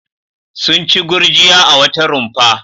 Sun ci gurjiya a wata rumfa.